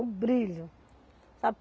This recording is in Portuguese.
O brilho, sabe.